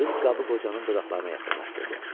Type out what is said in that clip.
Qız qabı qocanın dodaqlarına yaxınlaşdırdı.